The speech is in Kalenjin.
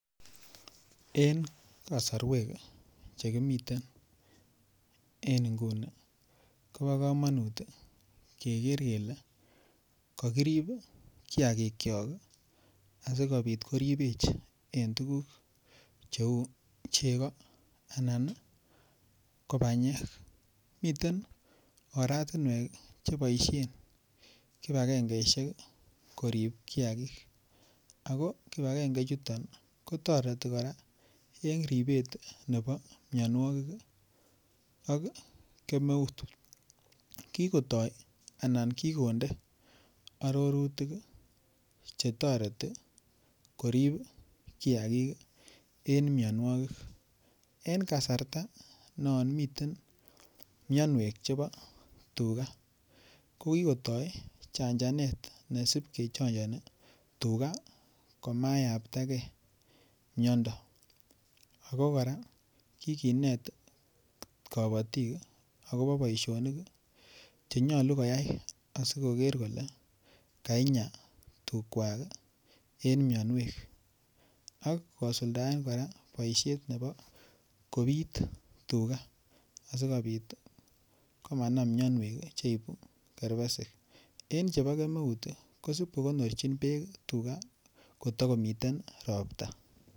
En kasarwek Che kimiten en nguni kobo kamanut keger kele kakirib kiagikyok asikobit koribech en tuguk cheu chego anan ko banyek miten oratinwek Che boisien kibagengesiek korib kiagik ago kibagenge chuton kotoreti kora en ribet nebo mianwogik ak kemeut kigonde arorutik Che toreti korib kiagik en mianwogik en kasarta non miten mianwek chebo tuga ko kigotoi chanjanet nesib kechanjani tuga komayamptagei miando ago kora kiginet kabatik agobo boisionik Che nyolu koyai asikoker kole kainyaa tugwak en mianwek ak kosuldaen kora boisiet nebo kobit tuga asikobit komanam mianwek cheibu kerbesik en chebo kemeut kosib kokornjin bek kotakomiten ropta